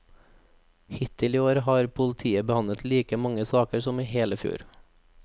Hittil i år har politiet behandlet like mange saker som i hele fjor.